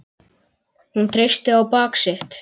Hún treysti á bak sitt.